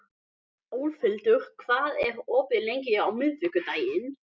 Álfhildur, hvað er opið lengi á miðvikudaginn?